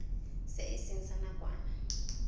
se e seng sa nakwana